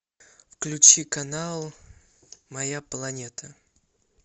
включи канал моя планета